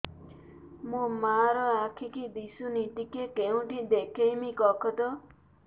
ମୋ ମା ର ଆଖି କି ଦିସୁନି ଟିକେ କେଉଁଠି ଦେଖେଇମି କଖତ